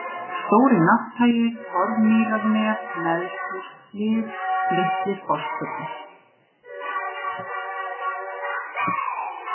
Stóri-Nátthagi, Torfmýrarnef, Neðsthússhlið, Litli-Fosspollur